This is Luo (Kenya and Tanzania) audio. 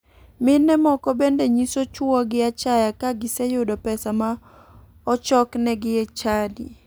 Mine moko bende nyiso chuogi achaya ka giseyudo pesa ma ochoknegi e chadi.